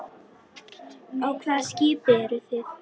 Á hvaða skipi eru þið?